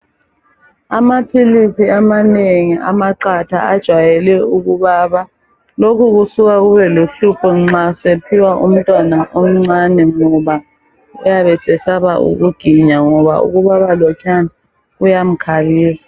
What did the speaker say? Amaphilisi amanengi amaqatha ajayele ukubaba .Lokhu kusuka kube luhlupho nxase phiwa umntwana omncane. Ngoba uyabe sesaba ukuginya ngoba ukubaba lokhuyana kuyamkhalisa.